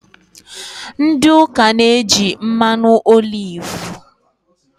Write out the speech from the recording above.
Ndị ụka na-eji mmanụ olivu